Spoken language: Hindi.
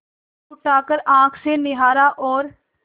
उठाकर आँख से निहारा और